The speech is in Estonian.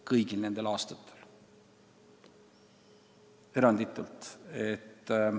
Kõigil nendel aastatel eranditult!